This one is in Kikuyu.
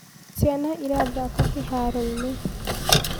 ciana irathaka kĩharoinĩ